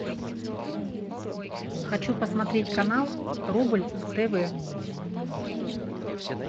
хочу посмотреть канал рубль тв